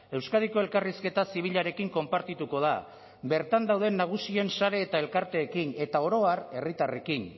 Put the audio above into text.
euskadiko elkarrizketa zibilarekin konpartituko da bertan dauden nagusien sare eta elkarteekin eta oro har herritarrekin